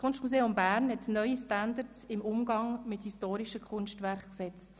Es hat neue Standards im Umgang mit historischen Kunstwerken gesetzt.